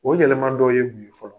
O yɛlɛman dɔ ye mun ye fɔlɔ?